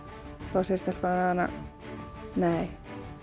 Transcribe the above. þá segir stelpan við hana nei